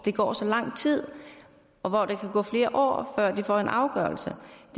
går så lang tid og hvor der kan gå flere år før de får en afgørelse